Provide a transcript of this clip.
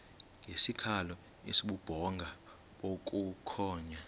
ngesikhalo esibubhonga bukhonya